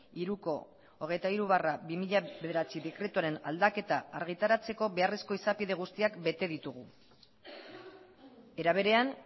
hiruko hogeita hiru barra bi mila bederatzi dekretuaren aldaketa argitaratzeko beharrezko izapide guztiak bete ditugu era berean